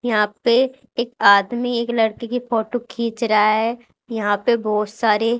यहां पे एक आदमी एक लड़की की फोटो खींच रहा है यहां पे बहोत सारे--